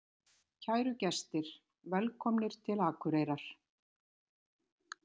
Kæru gestir! Velkomnir til Akureyrar.